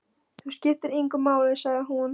Það skiptir engu máli, sagði hún.